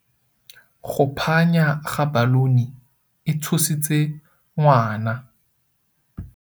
Go phanya ga baluni e tshositse ngwana.